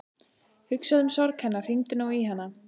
Hugsaðu um sorg hennar, hringdu nú í hana.